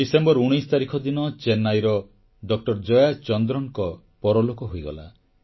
December 19 ତାରିଖ ଦିନ ଚେନ୍ନାଇର ଡକ୍ଟର ଜୟାଚନ୍ଦ୍ରନଙ୍କ ପରଲୋକ ହୋଇଗଲା